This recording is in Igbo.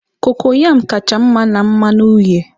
cocoyam kacha mma na mmanụ uhie